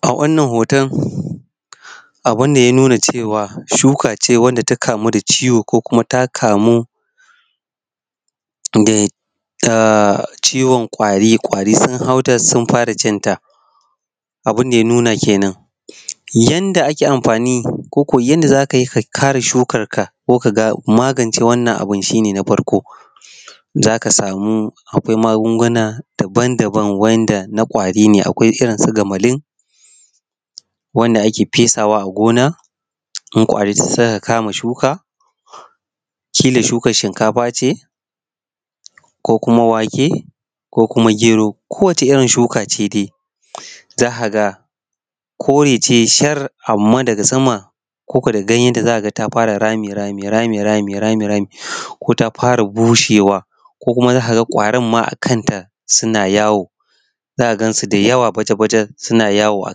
A wannan hoton abun da ya ya nuna cewa shuka ce wanda ta kamu da ciwo ko ta kamu da ciwon ƙwari, ƙwari sun hau ta sun fara cinta abun da ya nuna kenan. Yadda ake amfani konyadda za ka yi ka kare shukarka ko ka magance wannan abu shi ne na farko. Za ka samu akwai magunguna daban-daban wanda na ƙwari ne akwai irin su Gamalin wanda ake fesawa a gona wanda idan suka kama shuka kila shukar shinkafa ce ko kuma wake ko kuma gero ko wacce irin shukace dai za ka ga kore ce shar amma daga gefe ko daga sama da ganyenta za ka ga ta fara rami-rami ko ta fara bushewa ko kuma ka ga ƙwarin ma a kanta suna yawo za ka gansu da yawa baja-baja suna yawo a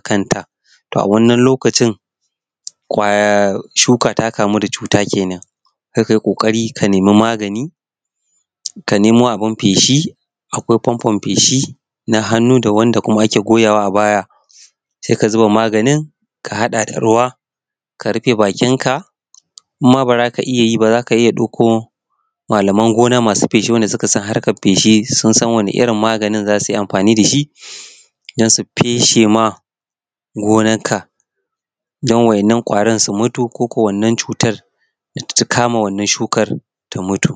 kanta, shuka ta kamu da cuta kenan. Sai ka yi ƙoƙarin ka nema maganin ka nemo abun feshi akwai fanfon feshi na hannu da wani abun da ake goyawa a baya a hada da ruwa ka rufe bakinka idan ma ba za ka iya yi ba sai ka dauko malaman gona masu feshi eanda suka san harkar feshi irin magani za su yi amfani da shi don su feshe ma gonarka. Don waɗannan ƙwari su mutu ko kuwa wannan cutar ta kama wannan ciwon su mutu.